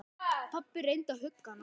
Pabbi reyndi að hugga hana.